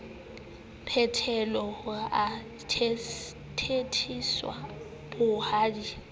phethelwe ha ho thetheswa bohadi